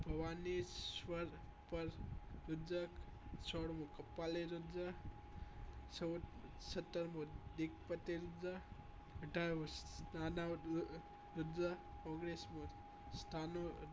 ભવાનીશ્વ્ર પર રુદ્ર સોળમું કપાળી રુદ્ર સત સત્તરમું દિગ્વતી રુદ્ર અઢાર મુ દનાવતી રુદ્ર ઓગણીસમું સ્થાનું